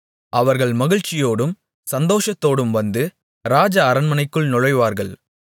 அவர்கள் மகிழ்ச்சியோடும் சந்தோஷத்தோடும் வந்து ராஜ அரண்மனைக்குள் நுழைவார்கள்